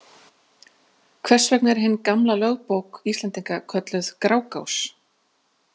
Hvers vegna er hin gamla lögbók Íslendinga kölluð Grágás?